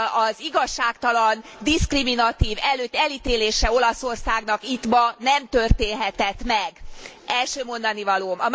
az igazságtalan, diszkriminatív erők általi elítélése Olaszországnak itt ma nem történhetett meg, első mondanivalóm.